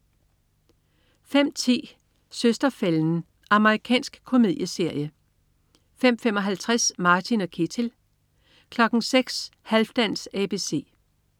05.10 Søster-fælden. Amerikansk komedieserie 05.55 Martin & Ketil 06.00 Halfdans ABC